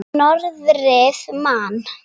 Norðrið man.